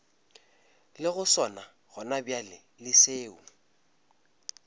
lego sona gonabjale le seo